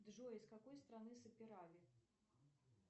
джой из какой страны саперави